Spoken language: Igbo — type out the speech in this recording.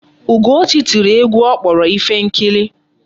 Ugochi tiri egwu ọ kpọrọ Ifenkili.